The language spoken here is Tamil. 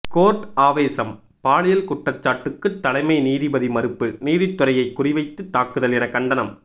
கோர்ட் ஆவேசம் பாலியல் குற்றச்சாட்டுக்கு தலைமை நீதிபதி மறுப்பு நீதித்துறையை குறிவைத்து தாக்குதல் என கண்டனம்